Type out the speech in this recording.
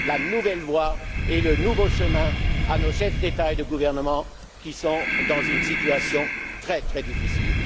une nouvelle voie et un nouveau chemin à nos chefs d'État et de gouvernement, qui sont dans une situation très difficile.